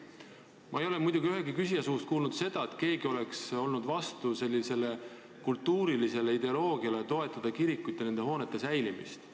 Ma ei ole täna ühegi küsija suust kuulnud, et keegi oleks vastu kultuuriideoloogiale, mis peab vajalikuks toetada kirikuhoonete säilimist.